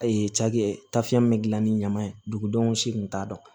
cakɛ tafan min gilan ni ɲaman ye dugudenw si kun t'a dɔn